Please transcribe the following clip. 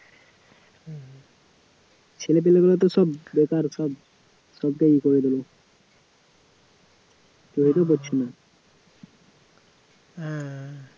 ছেলেপিলেগুলো তো সব বেকার সব, সবটাই ইয়ে করে দিল পড়ছে না